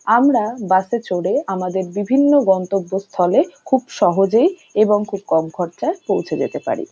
আমরা বাস এ চড়ে আমাদের বিভিন্ন গন্তব্বস্থলে খুব সহজেই এবং খুব কম খরচায় পৌঁছে যেতে পারি ।